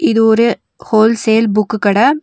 இது ஒரு wholesale book கட.